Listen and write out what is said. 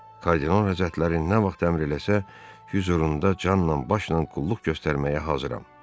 Kardinal Həzrətləri nə vaxt əmr eləsə, Vizurunda canla başla qulluq göstərməyə hazıram.